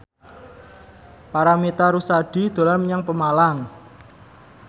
Paramitha Rusady dolan menyang Pemalang